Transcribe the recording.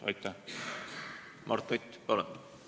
Mart Nutt, palun!